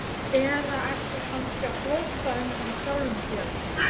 Eða ertu kannski á flótta undan sjálfum þér?